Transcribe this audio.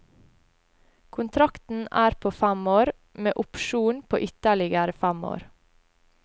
Kontrakten er på fem år, med opsjon på ytterligere fem år.